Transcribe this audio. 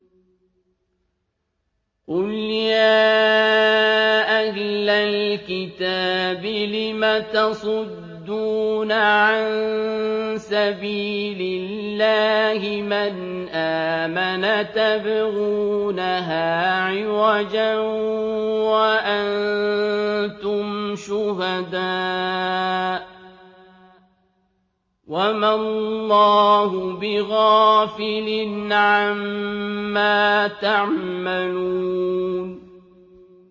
قُلْ يَا أَهْلَ الْكِتَابِ لِمَ تَصُدُّونَ عَن سَبِيلِ اللَّهِ مَنْ آمَنَ تَبْغُونَهَا عِوَجًا وَأَنتُمْ شُهَدَاءُ ۗ وَمَا اللَّهُ بِغَافِلٍ عَمَّا تَعْمَلُونَ